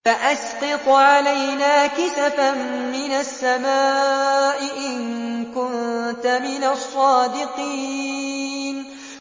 فَأَسْقِطْ عَلَيْنَا كِسَفًا مِّنَ السَّمَاءِ إِن كُنتَ مِنَ الصَّادِقِينَ